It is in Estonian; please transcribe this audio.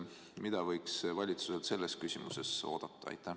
Mida võiks valitsuselt selles küsimuses oodata?